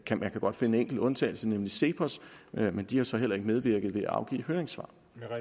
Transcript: kan man godt finde enkelte undtagelser nemlig cepos men de har så heller ikke medvirket ved at afgive høringssvar